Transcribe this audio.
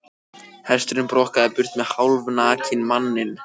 Hesturinn brokkaði burt með hálfnakinn manninn.